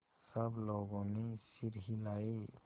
सब लोगों ने सिर हिलाए